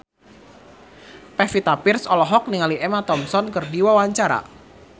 Pevita Pearce olohok ningali Emma Thompson keur diwawancara